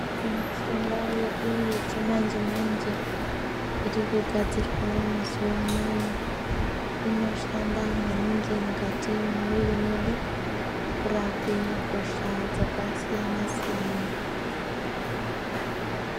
Mishonga yedu yechimanje manje iri kugadzirwa mazuwanaya inoshanda maningi mukati mwemwiri mwedu kurape hosha dzakasiyana siyana.